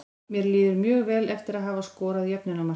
Mér líður mjög vel eftir að hafa skorað jöfnunarmarkið.